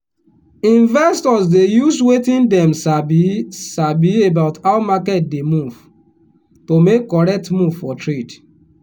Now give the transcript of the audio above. investors dey use wetin dem sabi sabi about how market dey move to make correct move for trade.